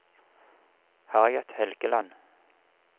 Harriet Helgeland